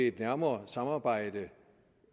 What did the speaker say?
et nærmere samarbejde